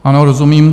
Ano, rozumím.